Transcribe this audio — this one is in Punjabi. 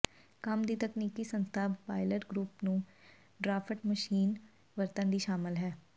ਕੰਮ ਦੀ ਤਕਨੀਕੀ ਸੰਸਥਾ ਬਾਇਲਰ ਗਰੁੱਪ ਨੂੰ ਡਰਾਫਟ ਮਸ਼ੀਨ ਵਰਤਣ ਦੀ ਸ਼ਾਮਲ ਹੈ